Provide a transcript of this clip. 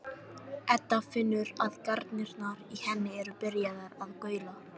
Edda finnur að garnirnar í henni eru byrjaðar að gaula.